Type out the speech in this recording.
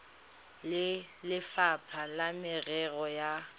le lefapha la merero ya